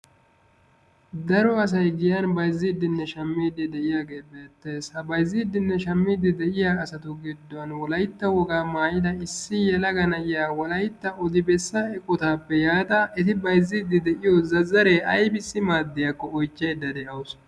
Daro asayi giyan bayzziiddinne shammiiddi de'iyagee beettes. Ha bayzziiddinne shammiiddi de'iya asatu gidduwan wolaytta wogaa maayida issi yelaga na'iya wolaytta odibessa eqotaappe yaada eti bayzziiddi de'iyo zazzaree aybissi maaddiyakko oychchaydda de'awus.